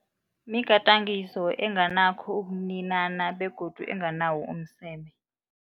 Migadangiso enganakho ukuninana begodu enganawo umseme.